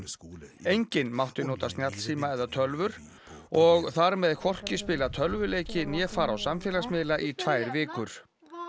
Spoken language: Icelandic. enginn mátti nota snjallsíma eða tölvur og þar með hvorki spila tölvuleiki né fara á samfélagsmiðla í tvær vikur